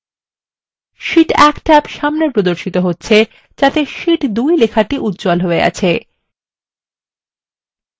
Sheet1 tab সামনে প্রদর্শিত হচ্ছে যাতে শীট 2 লেখাটি উজ্জ্বল হয়ে আছে